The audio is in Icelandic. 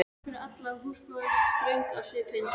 Það er pláss fyrir alla, sagði húsmóðirin ströng á svipinn.